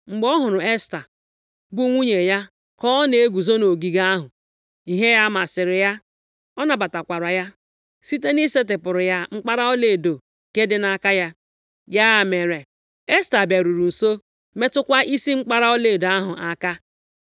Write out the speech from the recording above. Mgbe ọ hụrụ Esta bụ nwunye eze ka o na-eguzo nʼogige ahụ, ihe ya masịrị ya, ọ nabatakwara ya site na ị setịpụrụ ya mkpara ọlaedo nke dị nʼaka ya. Ya mere, Esta bịaruru nso metụkwa isi mkpara ọlaedo ahụ aka.